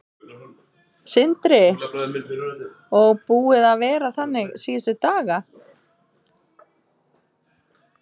Sindri: Og búið að vera þannig síðustu daga?